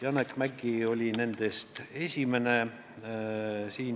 Janek Mäggi oli nendest esimene.